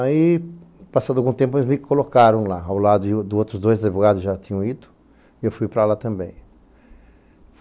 Aí, passado algum tempo, eles me colocaram lá, ao lado de outros dois advogados que já tinham ido, e eu fui para lá também.